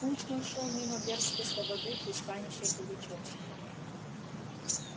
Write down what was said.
путь мой шёл мимо бердской слободы пристанища пугачёвского